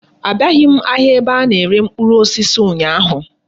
Abiaghi m ahịa ebe a na-ere mkpụrụ osisi ụnyaahụ.